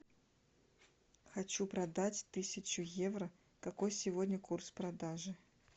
хочу продать тысячу евро какой сегодня курс продажи